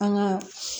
An ka